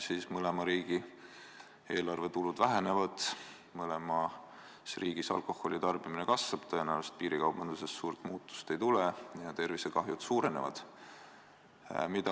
Seega, mõlema riigi eelarvetulud vähenevad, mõlemas riigis alkoholi tarbimine kasvab, tõenäoliselt piirikaubanduses suurt muutust ei tule ja tervisekahju suureneb.